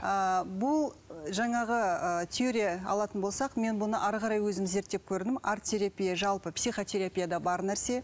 ыыы бұл жаңағы ыыы теория алатын болсақ мен бұны әрі қарай өзім зерттеп көрдім арт терапия жалпы психотерапияда бар нәрсе